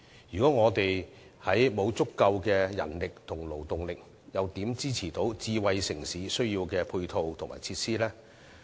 如果沒有足夠人力及勞動力，又如何能夠支持智慧城市所需的配套及設施呢？